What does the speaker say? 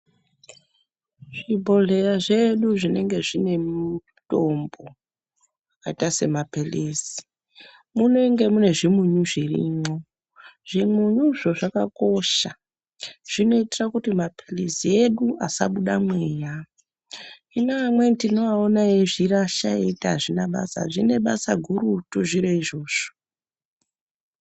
Zvibhodhera zvedu zvinonge zvine mutombo akaita semaphilizi munenge mune zvimunyu zvirimwo, zvimunyuzvo zvakakosha zvinoitira kuti maphilizi edu asabuda mweya hino amweni tinoona eizvirasha eiti azvida basa , zvine basa gurutu zviro izvozvo.